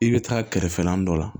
I bɛ taa kɛrɛfɛla dɔ la